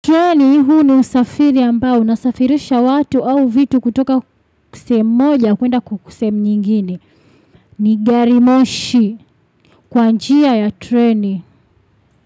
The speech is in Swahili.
Train huu ni usafiri ambao unasafirisha watu au vitu kutoka sehemu moja kwenda sehemu nyingine ni gari moshi kwa njia ya treni.